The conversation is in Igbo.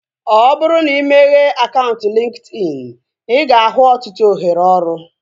Ọ bụrụ na imeghe akaụntụ LinkedIn, ị ga-ahụ ọtụtụ ohere ọrụ